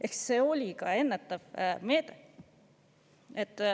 Ehk see oli ka ennetav meede.